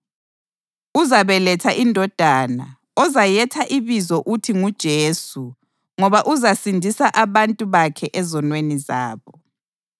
Uzabeletha indodana ozayetha ibizo uthi nguJesu ngoba uzasindisa abantu bakhe ezonweni zabo.”